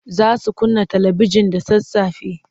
Za su kunna talibijin da sassafe.